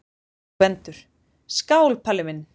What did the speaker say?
GVENDUR: Skál, Palli minn!